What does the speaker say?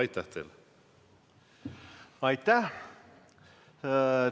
Aitäh!